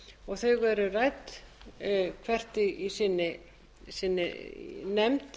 og þau eru rædd hvert í sinni nefnd